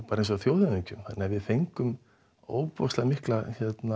bara eins og þjóðhöfðingjum þannig við fengum mikla